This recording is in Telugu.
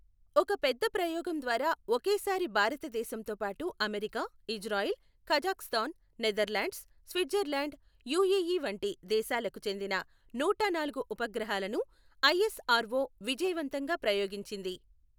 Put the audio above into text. ఒక పెద్ద ప్రయోగం ద్వారా ఒకేసారి భారతదేశంతో పాటు America, Israel, Kazakhstan, Netherlands, Switzerland, UAE వంటి దేశాలకు చెందిన నూటనాలుగు ఉపగ్రహాలను ఐఎస్ఆర్ఒ విజయవంతంగా ప్రయోగించింది.